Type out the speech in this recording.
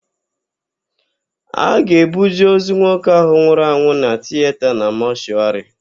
A ga-ebuje ozu nwoke ahụ nwụrụ na tiyeta na mọshụarị.